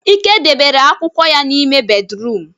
Ike debere akwukwo ya n'ime bédrụum.